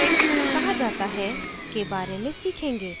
कहा जाता है के बारे में सीखेंगे